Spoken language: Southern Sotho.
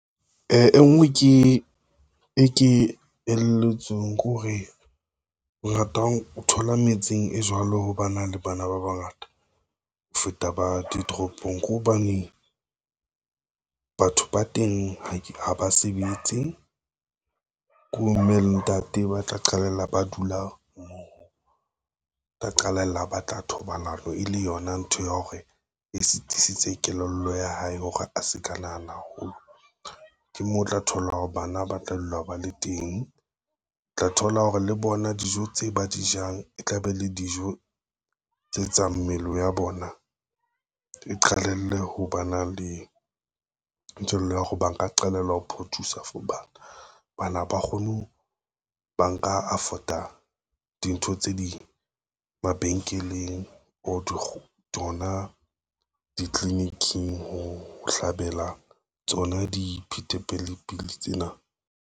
E ngwe e ke elelletsweng ke hore, o thola metseng e jwalo ho ba na le bana ba bangata ho feta ba ditoropong ko hobane, batho ba teng ha ba sebetse ko mme le ntate ba tla qalella ba dula mmoho. Tla qalella a batla thobalano e le yona ntho ya hore e sitisitse kelello ya hae hore a se ka nahana haholo, ke moo o tla thola hore bana ba tla dula ba le teng, o tla thola hore le bona dijo tse ba di jang e tla be le dijo tse tsa mmele ya bona eqalelle ho ba na le nthwela ya hore ba nka qalella ho produce-a for bana, bana ba kgone ho ba nka afford-a dintho tse ding mabenkeleng or tsona ditliliniking ho hlabela tsona di tsena.